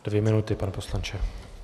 Dvě minuty, pane poslanče.